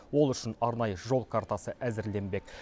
ол үшін арнайы жол картасы әзірленбек